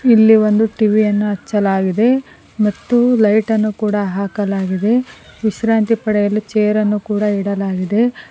ಇಲ್ಲಿ ಒಂದು ಟಿ_ವಿ ಯನ್ನ ಹಚ್ಚಲಾಗಿದೆ ಮತ್ತು ಒಂದು ಲೈಟ್ ಇನ್ನು ಕೂಡ ಹಾಕಲಾಗಿದೆ ಮತ್ತು ವಿಶ್ರಾಂತಿ ಪಡೆಯಲು ಚೇರ ನ್ನು ಕೂಡ ಇಡಲಾಗಿದೆ.